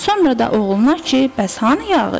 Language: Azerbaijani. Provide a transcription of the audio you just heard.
Sonra da oğluna ki, bəs hanı yağış?